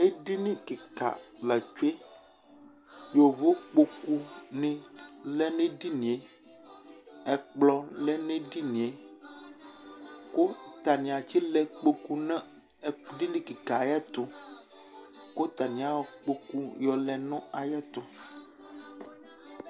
Edini kɩka la tsue : yovokpoku nɩ lɛ n'edinie , ɛkplɔ lɛ n'edinie , kʋ atanɩ atsɩ lɛ ikpoku nʋ ɛ edini kɩka ayɛtʋ ; kʋ atanɩ ayɔ ikpoku yɔlɛ nʋ ayɛtʋ